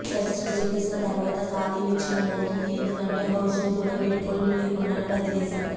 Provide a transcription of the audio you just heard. శస్త్రచికిత్స తర్వాత కాలీ విచ్ఛిన్నమవుతుంది ఎందుకంటే హాహ్న్ కూడా వీడ్కోలు లేకుండానే వదిలేశాడు